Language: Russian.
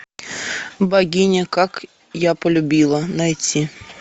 богиня как я полюбила найти